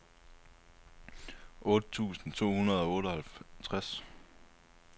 otte tusind to hundrede og otteoghalvtreds